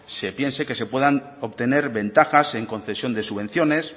se piense que se puedan obtener ventajas en concesión de subvenciones